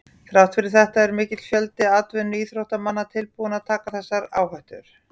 Þrátt fyrir þetta er mikill fjöldi atvinnuíþróttamanna tilbúinn að taka þessa áhættu.